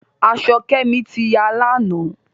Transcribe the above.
Aṣọ Kemi tí yá lànà.